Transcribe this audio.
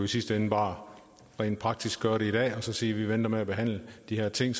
sidste ende bare rent praktisk gøre det i dag og så sige at vi venter med at behandle de her ting